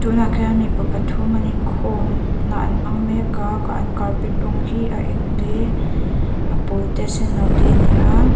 tunah khian mipa pathum an inkhawm na an hmang mek a an carpet rawng khi a eng te a pawl te a senno te a ni a.